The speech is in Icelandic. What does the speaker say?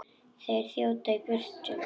Þeir þjóta í burtu.